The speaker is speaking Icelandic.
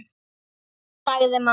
sagði mamma.